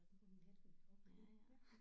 Om natten okay ja